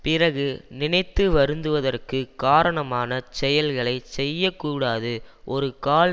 பிறகு நினைத்து வருந்துவதற்குக் காரணமான செயல்களை செய்ய கூடாது ஒரு கால்